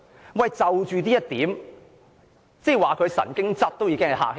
主席，就着這一點，說她神經質已比較客氣。